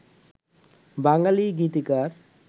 বাঙালি গীতিকার